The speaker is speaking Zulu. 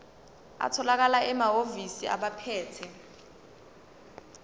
atholakala emahhovisi abaphethe